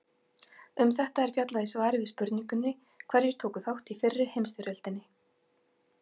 Um þetta er fjallað í svari við spurningunni Hverjir tóku þátt í fyrri heimsstyrjöldinni?